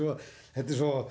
þetta er svo